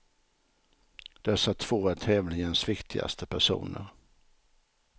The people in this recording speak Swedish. Dessa två är tävlingens viktigaste personer.